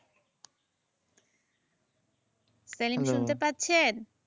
সেলিম শুনতে পাচ্ছেন?